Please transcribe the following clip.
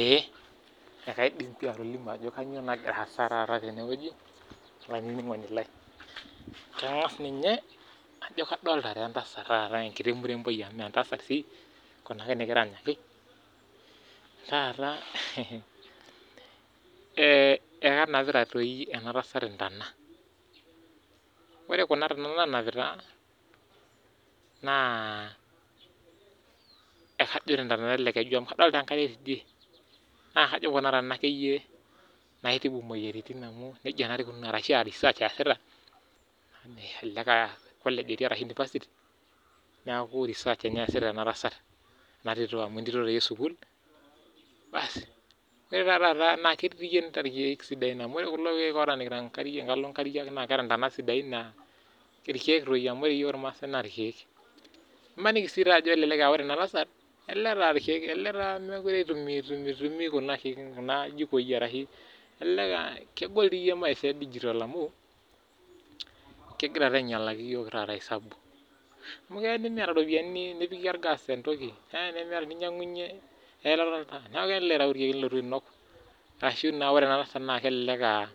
Ee ekaidim pi atolimu ajo kainyoo taata nagira aasa teneweji olaininingoni lai. Kangas ninye ajo kadolita entasat taata enkiti muremboi mee entasat sii Kuna nikiranyaki taata ,ekenapita doi enatasat ntona. Ore Kuna tona nanapita naa ekajo ententonata ele keju amu kadolita enkae tidie. Naa kajo akeyie ekuna tona naitibu moyiaritin ashu research eesita ,elelek aa college etii ashu university, neeku research eesita ena tasatena tito amu entito doi esukul. Ore taata naa ketii irkeek sidain amu ore kulo keek otaamikita nkariak naa keeta ntonat siadai naa irkeek doi ,ore yiok irmaasai naa irkeek. Maniki sii aa ore ena tasat mookure eitumiyia kuna aa ljikoi ,kegol doi maisha edigital amu, kegira taata ainyalaki yiok esabu. Amu keya nimiyata ropiyiani nipikie orgas entoki ,neeku iyau irkeek nilotu ainok ashu ore ena tasat naa kelelek aa